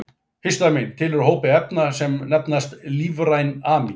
Histamín tilheyrir hópi efna sem nefnast lífræn amín.